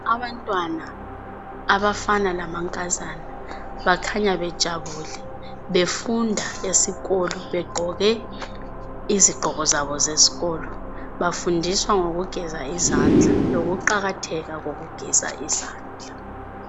Abantwana, abafana lamankazana bakhanya bejabule befunda esikolo begqoke izigqoko zabo zesikolo. Bafundiswa ngokugeza izandla lokuqakatheka kokugeza izandla.